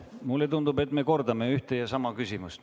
Mulle tundub, et me kordame ühte ja sama küsimust.